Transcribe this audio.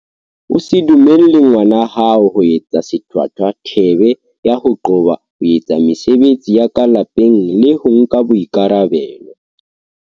O se dumelle ngwana hao ho etsa sethwathwa thebe ya ho qoba ho etsa mesebetsi ya ka lapeng le ho nka boikarabelo.